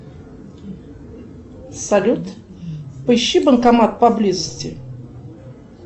салют поищи банкомат поблизости